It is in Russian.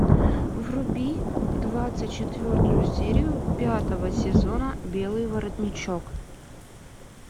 вруби двадцать четвертую серию пятого сезона белый воротничок